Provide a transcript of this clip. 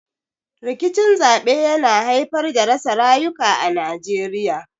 Rikicin zaɓe yana haifar da rasa rayuka a Najeriya.